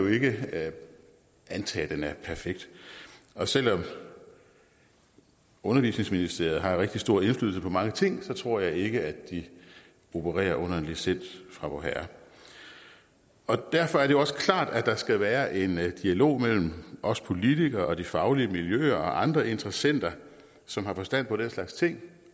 ikke antage at den er perfekt og selv om undervisningsministeriet har rigtig stor indflydelse på mange ting tror jeg ikke de opererer under en licens fra vorherre derfor er det også klart at der skal være en dialog mellem os politikere og de faglige miljøer og andre interessenter som har forstand på den slags ting